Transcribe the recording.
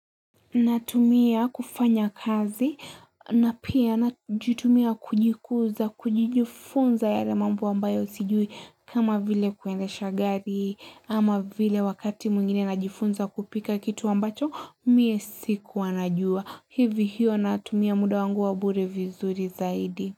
Natumia kufanya kazi na pia najitumia kujikuza kujijifunza yale mambo ambayo sijui kama vile kuendesha gari ama vile wakati mwngine najifunza kupika kitu ambacho mie sikuwa najua hivi hiyo natumia muda wangu wa bure vizuri zaidi.